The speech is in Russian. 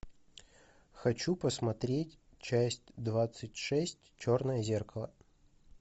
хочу посмотреть часть двадцать шесть черное зеркало